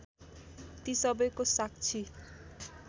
ती सबैको साक्षी